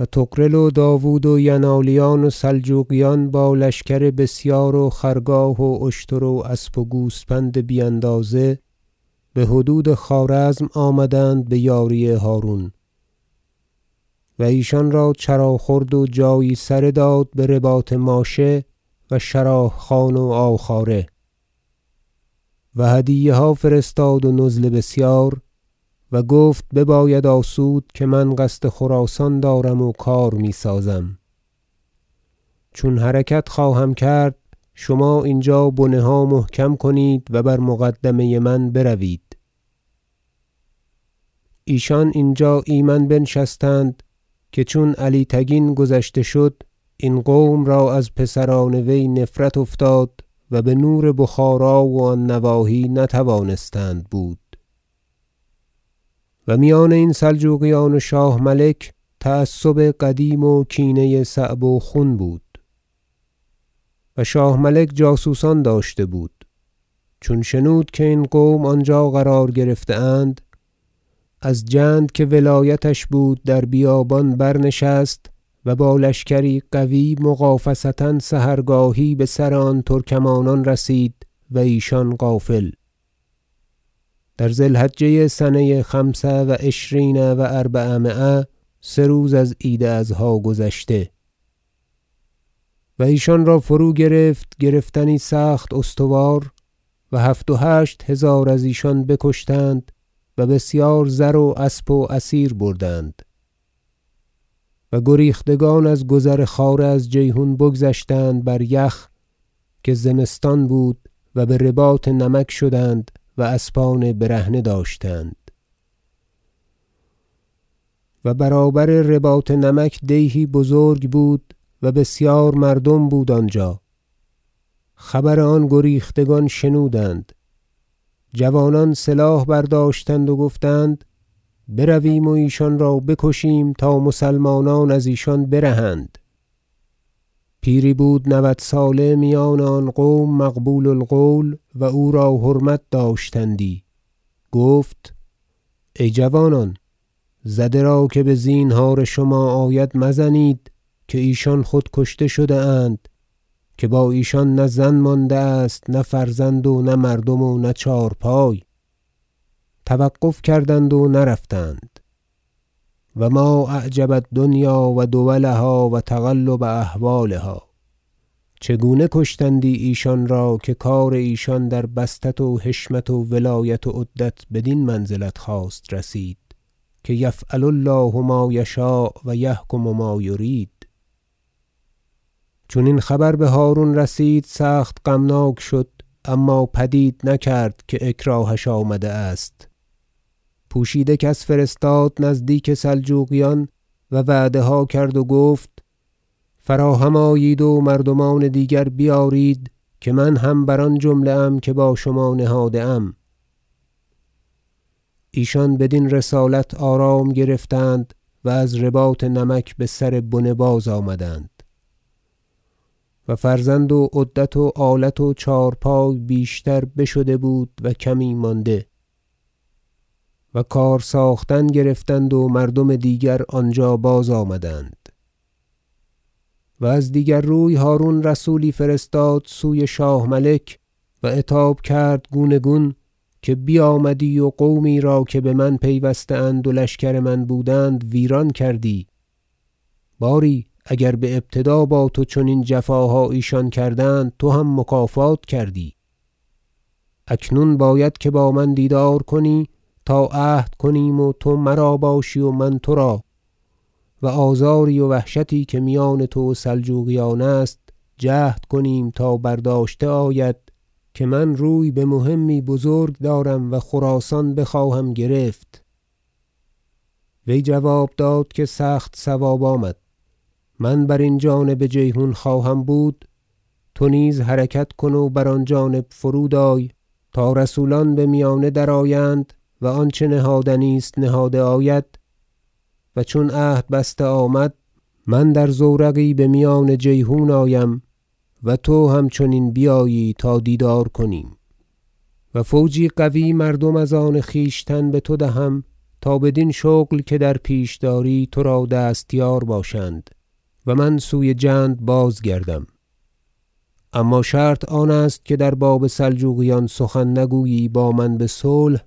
و طغرل و داود و ینالیان و سلجوقیان با لشکر بسیار و خرگاه و اشتر و اسب و گوسپند بی اندازه بحدود خوارزم آمدند بیاری هرون و ایشان را چرا خورد و جایی سره داد برباط ماشه و شراه خان و عاوخواره و هدیه ها فرستاد و نزل بسیار و گفت بباید آسود که من قصد خراسان دارم و کار میسازم چون حرکت خواهم کرد شما اینجا بنه ها محکم کنید و بر مقدمه من بروید ایشان اینجا ایمن بنشستند که چون علی تگین گذشته شد این قوم را از پسران وی نفرت افتاد و به نور بخارا و آن نواحی نتوانستند بود و میان این سلجوقیان و شاه ملک تعصب قدیم و کینه صعب و خون بود و شاه ملک جاسوسان داشته بود چون شنود که این قوم آنجا قرار گرفته اند از جند که ولایتش بود در بیابان برنشست و با لشکری قوی مغافصه سحرگاهی بسر آن ترکمانان رسید و ایشان غافل در ذی الحجه سنه خمس و عشرین و اربعمایه سه روز از عید اضحی گذشته و ایشان را فروگرفت گرفتنی سخت استوار و هفت و هشت هزار از ایشان بکشتند و بسیار زر و اسب و اسیر بردند و گریختگان از گذر خواره از جیحون بگذشتند بر یخ که زمستان بود و برباط نمک شدند و اسبان برهنه داشتند و برابر رباط نمک دیهی بزرگ بود و بسیار مردم بود آنجا خبر آن گریختگان شنودند جوانان سلاح برداشتند و گفتند برویم و ایشان را بکشیم تا مسلمانان از ایشان برهند پیری بود نود ساله میان آن قوم مقبول القول و او را حرمت داشتندی گفت ای جوانان زده را که بزینهار شما آید مزنید که ایشان خود کشته شده اند که با ایشان نه زن مانده است نه فرزند و نه مردم و نه چهارپای توقف کردند و نرفتند و ما اعجب الدنیا و دولها و تقلب احوالها چگونه کشتندی ایشان را که کار ایشان در بسطت و حشمت و ولایت و عدت بدین منزلت خواست رسید که یفعل الله ما یشاء و یحکم ما یرید چون این خبر بهرون رسید سخت غمناک شد اما پدید نکرد که اکراهش آمده است پوشیده کس فرستاد نزدیک سلجوقیان و وعده ها کرد و گفت فراهم آیید و مردمان دیگر بیارید که من هم بر آن جمله ام که با شما نهاده ام ایشان بدین رسالت آرام گرفتند و از رباط نمک بسر بنه بازآمدند و فرزند و عدت و آلت و چهارپای بیشتر بشده بود و کمی مانده و کار ساختن گرفتند و مردم دیگر آنجا بازآمدند و از دیگر روی هرون رسولی فرستاد سوی شاه ملک و عتاب کرد گوناگون که بیامدی و قومی را که بمن پیوسته اند و لشکر من بودند ویران کردی باری اگر بابتدا با تو چنین جفاها ایشان کردند تو هم مکافات کردی اکنون باید که با من دیدار کنی تا عهد کنیم و تو مرا باشی و من ترا و آزاری و وحشتی که میان تو و سلجوقیان است جهد کنیم تا برداشته آید که من روی بمهمی بزرگ دارم و خراسان بخواهم گرفت وی جواب داد که سخت صواب آمد من برین جانب جیحون خواهم بود تو نیز حرکت کن و بر آن جانب فرود آی تا رسولان بمیانه درآیند و آنچه نهادنی است نهاده آید و چون عهد بسته آمد من در زورقی بمیان جیحون آیم و تو همچنین بیایی تا دیدار کنیم و فوجی قوی مردم از آن خویشتن بتو دهم تا بدین شغل که در پیش داری ترا دستیار باشند و من سوی جند بازگردم اما شرط آن است که در باب سلجوقیان سخن نگویی با من بصلح